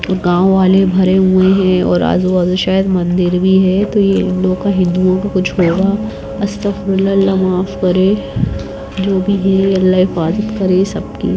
गावँ वाले भरे हुए हैं और आजु बाजू शायद मंदिर भी हैं तो ये लोग को हिंदुओं का कुछ होगा अस्तक फीरुल्लाह अल्लाह माफ कर जोकि अल्लाह हिफ़ाजत करे सब की।